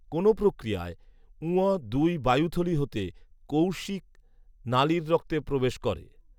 কোন প্রক্রিয়ায় ঙ দুই বায়ুথলি হতে কৌশিক নালির রক্তে প্রবেশ করে